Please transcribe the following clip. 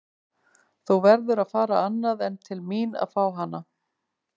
Þú verður að fara annað en til mín að fá hana.